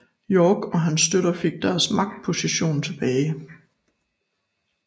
York og hans støtter fik deres magtposition tilbage